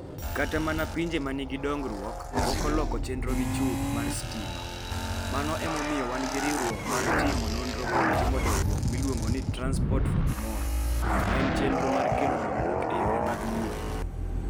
Kata mana pinje ma nigi dongruok, pok oloko chenrogi chuth (mar stima), mano emomiyo wan gi riwruok mar timo nonro kod timo dongruok miluongo ni, 'Transport for Tomorrow' ma en chenro mar kelo dongruok e yorewa mag wuoth.